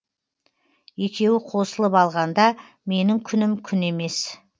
екеуі қосылып алғанда менің күнім күн емес